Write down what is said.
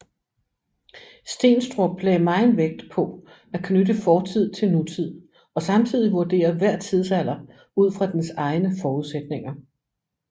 Steenstrup lagde megen vægt på at knytte fortid til nutid og samtidig vurdere hver tidsalder ud fra dens egne forudsætninger